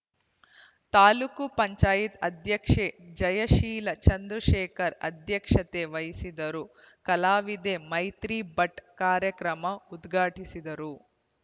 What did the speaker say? ತಾಲ್ಲೂಕು ಪಂಚಾಯತ್ ಅಧ್ಯಕ್ಷೆ ಜಯಶೀಲ ಚಂದ್ರಶೇಖರ್ ಅಧ್ಯಕ್ಷತೆ ವಹಿಸಿದ್ದರು ಕಲಾವಿದೆ ಮೈತ್ರಿ ಭಟ್‌ ಕಾರ್ಯಕ್ರಮ ಉದ್ಘಾಟಿಸಿದರು